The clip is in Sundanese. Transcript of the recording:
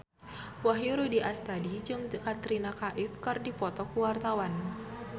Wahyu Rudi Astadi jeung Katrina Kaif keur dipoto ku wartawan